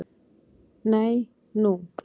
Nei, nú?